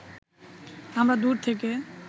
আমরা দূর থেকে